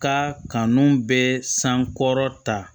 Ka kanu bɛ san kɔrɔta